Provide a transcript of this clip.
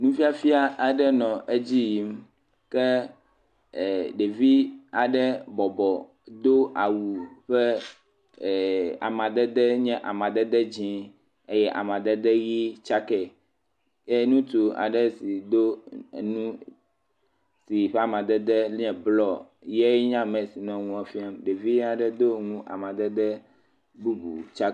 Nufiafia aɖe nɔ edzi yim ke e ɖevi aɖe bɔbɔ do awu ƒe, e.. amadede nye amadede dzi eye amadede ʋi tsakɛ eye ŋutsu aɖe si do enu si ƒe amadede nye blɔ yae nye ame si nɔ nua fiam. Ɖevia ɖe do nu amadede bubu tsa.